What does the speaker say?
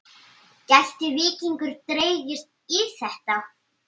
Gæti Víkingur dregist í þetta?